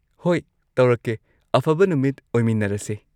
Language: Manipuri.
ꯍꯣꯏ ꯇꯧꯔꯛꯀꯦ꯫ ꯑꯐꯕ ꯅꯨꯃꯤꯠ ꯑꯣꯏꯃꯤꯅꯔꯁꯦ꯫